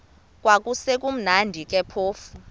kwakusekumnandi ke phofu